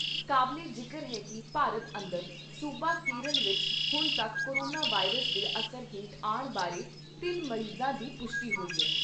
ਕਾਬਲੇ ਜਿਕਰ ਹੈ ਕਿ ਭਾਰਤ ਅੰਦਰ ਸੂਬਾ ਕੇਰਲ ਵਿਚ ਹੁਣ ਤੱਕ ਕੋਰੋਨਾ ਵਾਇਰਸ ਦੇ ਅਸਰ ਹੇਠ ਆਣ ਬਾਰੇ ਤਿੰਨ ਮਰੀਜਾਂ ਦੀ ਪੁਸ਼ਟੀ ਹੋਈ ਹੈ।